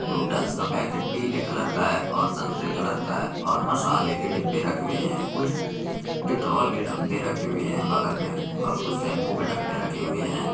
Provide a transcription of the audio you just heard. Noodles का packet पीले colour का है और संतरे कलर का है मसाले के डब्बे रखे हुए हैं कुछ डिटॉल के डब्बे रखे हुए हैं बगल में और कुछ शैंपू के डब्बे रखे हुए हैं।